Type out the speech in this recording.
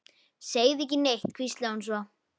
Segðu ekki neitt, hvíslaði hún svo.